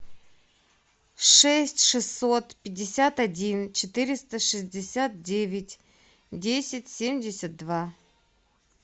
шесть шестьсот пятьдесят один четыреста шестьдесят девять десять семьдесят два